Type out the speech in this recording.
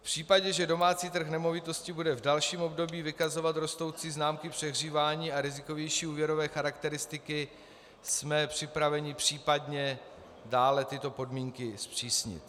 V případě, že domácí trh nemovitostí bude v dalším období vykazovat rostoucí známky přehřívání a rizikovější úvěrové charakteristiky, jsme připraveni případně dále tyto podmínky zpřísnit.